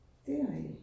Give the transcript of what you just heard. Det rigtigt